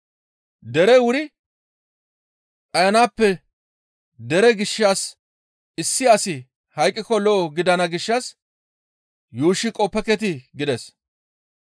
Derey wuri dhayanaappe dere gishshas issi asi hayqqiko lo7o gidana gishshas yuushshi qoppeketii?» gides.